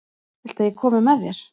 Viltu að ég komi með þér?